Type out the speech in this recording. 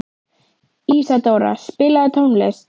Ísadóra, spilaðu tónlist.